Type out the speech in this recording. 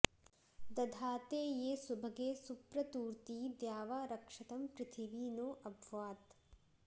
द॒धाते॒ ये सु॒भगे॑ सु॒प्रतू॑र्ती॒ द्यावा॒ रक्ष॑तं पृथिवी नो॒ अभ्वा॑त्